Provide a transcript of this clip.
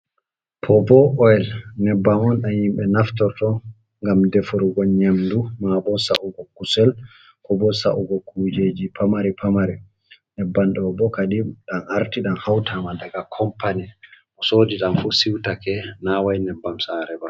Bobo oil nebbam on dam himbe naftoto gam defrugo nyamdu ma bo sa’ugo kusel ko bo saugo kujeji pamari pamari. Nyebbam ɗo bo kadi dam arti dam hautama daga kompany bo sodi dam fu siutake naway nebbam sarebaa.